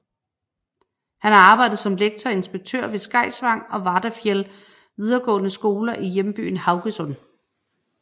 Han har arbejdet som lektor og inspektør ved Skeisvang og Vardafjell videregående skoler i hjembyen Haugesund